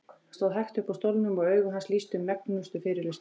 Hann stóð hægt upp úr stólnum og augu hans lýstu megnustu fyrirlitningu.